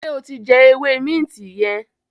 ṣe o tí jé ewé Minti yen?